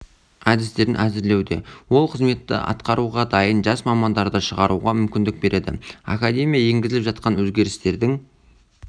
әдістерін әзірлеуде ол қызметті атқаруға дайын жас мамандарды шығаруға мүмкіндік береді академия енгізіліп жатқан өзгерістердің